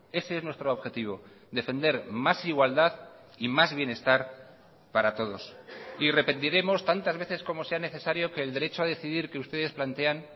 ese es nuestro objetivo defender más igualdad y más bienestar para todos y repetiremos tantas veces como sea necesario que el derecho a decidir que ustedes plantean